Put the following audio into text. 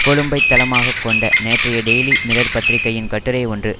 கொழும்பைத் தளமாக கொண்ட நேற்றைய டெயிலி மிரர் பத்திரிகையின் கட்டுரை ஒன்று